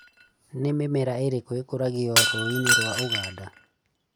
Nĩ mĩmera ĩrĩkũ ĩkũragio rũĩinĩ rwa ũganda?